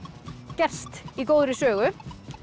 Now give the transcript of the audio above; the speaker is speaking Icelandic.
gerst í góðri sögu